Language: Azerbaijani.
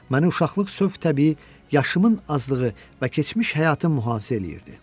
Məni uşaqlıq sövq-təbii yaşımın azlığı və keçmiş həyatım mühafizə eləyirdi.